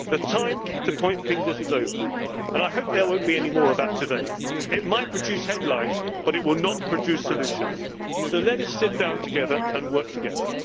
realistic ways. The time to point fingers is over, and I hope there will not be any more of that today. It might produce headlines, but it will not produce solutions, so let us sit down together and